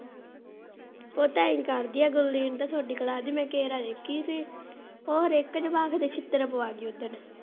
ਉਹ ਤਾਂ ਐਂ ਹੀ ਕਰਦੀ ਆ ਗੁਰਲੀਨ ਤੁਹਾਡੀ ਦੀ ਮੈਂ ਇਕੇ ਵਾਰ ਦੇਖੀ ਸੀ ਉਹ ਹਰੇਕ ਜਵਾਕ ਦੇ ਛਿੱਤਰ ਪਵਾਗੀ ਓਦਣ।